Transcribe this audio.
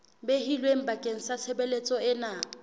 behilweng bakeng sa tshebeletso ena